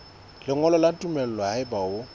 lengolo la tumello haeba o